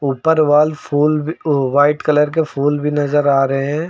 ऊपर वॉल फुल भी ओ व्हाइट कलर के फुल भी नजर आ रहे है।